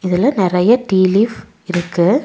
இதுல நெறைய tea leaf இருக்கு.